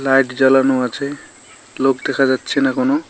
Light জ্বালানো আছে লোক দেখা যাচ্ছেনা কোনো।